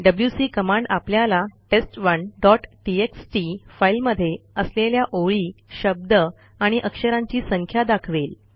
WC command आपल्याला टेस्ट1 dot TXT फाईलमध्ये असलेल्या ओळी शब्द आणि अक्षरांची संख्या दाखवेल